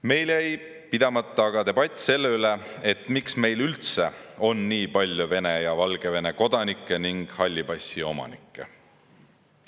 Meil jäi pidamata aga debatt selle üle, miks meil üldse on nii palju Vene ja Valgevene kodanikke ning halli passi omanikke.